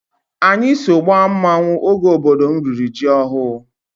Anyị so gbaa mmanwụ oge obodo m riri ji ọhụrụ.